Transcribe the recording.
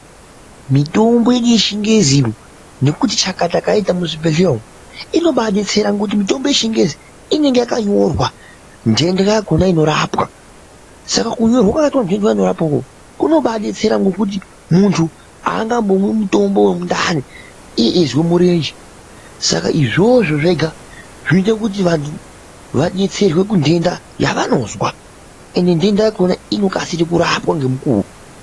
Mitombo yedu yechingezi nekuti chakata kayaita muzvibhedhlera umo inobadetsera ngokuti mitombo yechingezi inenge yakanyorwa ndenda yakona inorapwa Saka kunyorwa kwakaita ndenda yainorapa Kona ukoko kunobadetsera ngokuti muntu aangambomwi mutombo wemundani iye eizwa murenje saka izvozvo zvega zvinoita kuti vantu vadetserwe kundenda yavanozwa ende ndenda yakona inokasire kurapwa ngemukuwo.